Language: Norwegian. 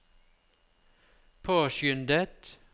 påskyndet